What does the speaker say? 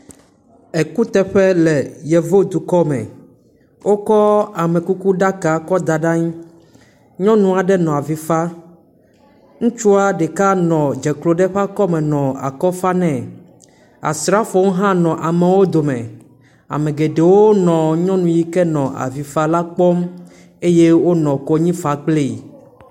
Ekuteƒe le Yevu dukɔ me, wokɔ amekukuɖaka kɔ da ɖe anyi nyɔnu aɖe nɔ avi faa. Ŋutsua ɖeka nɔ dze klo ɖe eƒe akɔme nɔ akɔ fa nɛ. Asrafowo hã nɔ amewo dome. Ame geɖewo nɔ nyɔnu yi ke nɔ avi fa la kpɔm eye wonɔ konyifa kplii.